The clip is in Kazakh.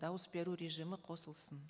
дауыс беру режимі қосылсын